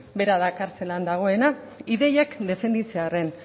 bera kartzelan dagoena ideiak defenditzearren